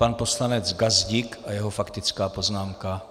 Pan poslanec Gazdík a jeho faktická poznámka.